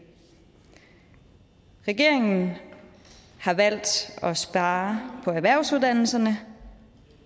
regeringen har valgt at spare på erhvervsuddannelserne